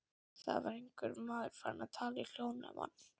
Það var einhver maður farinn að tala í hljóðnema.